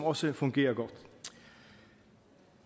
også fungerer godt